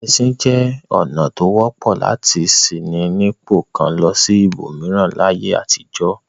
Ẹṣin jẹ́ ọ̀nà tó wọ́pọ̀ lati ṣí ní ipò kan lọ sí ibòmíràn láyé àtijọ́.